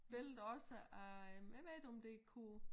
Billede også af øh jeg ved ikke om det kunne